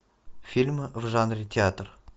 фильм в жанре театр